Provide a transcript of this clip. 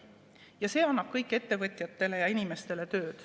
Ja see annab kõik ettevõtjatele ja inimestele tööd.